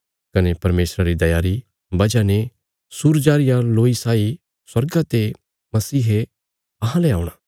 ये अहांरे परमेशरा री दया री वजह ते हुणा तियां जे सूरज अहांजो रौशनी देणे रे खातर चमकां तियां इ मसीह बी अहांले स्वर्गा ते औणा